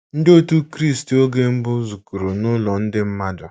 Ndị otù Kristi oge mbụ zukọrọ nụlọ ndị mmadụ.